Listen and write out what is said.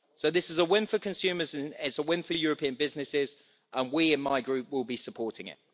So this is a win for consumers, it is a win for European businesses, and we in my Group will be supporting it.